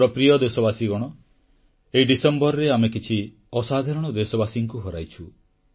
ମୋର ପ୍ରିୟ ଦେଶବାସୀଗଣ ଏହି ଡିସେମ୍ବରରେ ଆମେ କିଛି ଅସାଧାରଣ ବ୍ୟକ୍ତିତ୍ୱଙ୍କୁ ହରାଇଛୁ